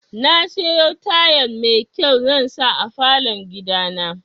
Nasiyo tayal mai kyau zansa a falon gidana.